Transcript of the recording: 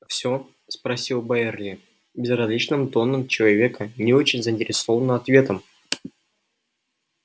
всё спросил байерли безразличным тоном человека не очень заинтересованного ответом